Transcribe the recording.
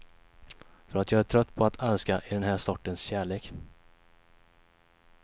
För att jag är trött på att älska i den här sortens kärlek.